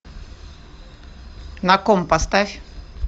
на ком поставь